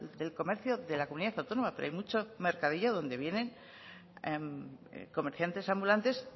del comercio de la comunidad autónoma pero hay mucho mercadillo donde vienen comerciantes ambulantes